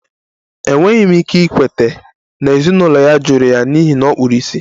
Enweghị m ike ikweta na ezinụlọ ya jụrụ ya n'ihi na ọ kpuru ìsì